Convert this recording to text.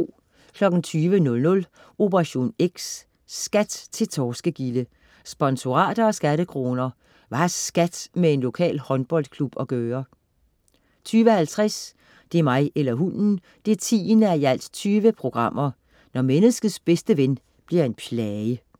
20.00 Operation X: SKAT til torskegilde. sponsorater og skattekroner Hvad har SKAT med en lokal håndboldklub at gøre? 20.50 Det er mig eller hunden! 10:20 Når menneskets bedste ven bliver en plage